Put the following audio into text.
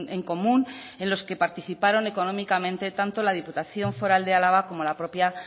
en común en los que participaron económicamente tanto la diputación foral de álava como la propia